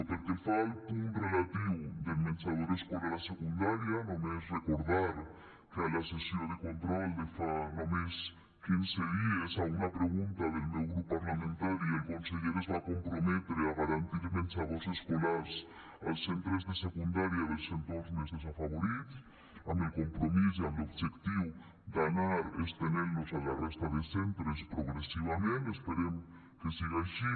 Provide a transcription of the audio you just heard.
pel que fa al punt relatiu del menjador escolar a secundària només recordar que a la sessió de control de fa només quinze dies a una pregunta del meu grup parlamentari el conseller es va comprometre a garantir menjadors escolars als centres de secundària dels entorns més desafavorits amb el compromís i amb l’objectiu d’anar estenent los a la resta de centres progressivament esperem que siga així